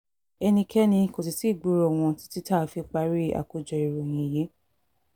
ẹnikẹ́ni kò sì tí ì gbúròó wọn títí tá a fi parí àkójọ ìròyìn yìí